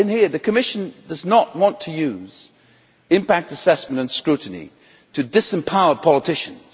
The Commission does not want to use impact assessment and scrutiny to disempower politicians.